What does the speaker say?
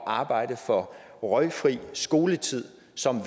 arbejde for røgfri skoletid som